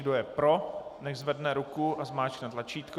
Kdo je pro, nechť zvedne ruku a zmáčkne tlačítko.